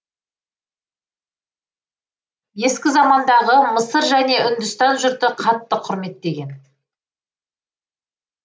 ескі замандағы мысыр және үндістан жұрты қатты құрметтеген